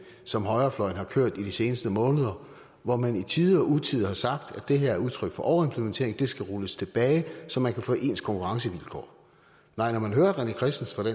som højrefløjen har kørt i de seneste måneder hvor man i tide og utide har sagt at det her er udtryk for overimplementering det skal rulles tilbage så man kan få ens konkurrencevilkår nej når man hører rené christensen